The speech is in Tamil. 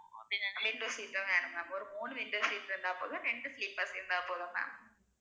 window seat ம் வேணும் ma'am ஒரு மூணு window seat இருந்தா போதும் ரெண்டு sleeper இருந்தா போதும் ma'am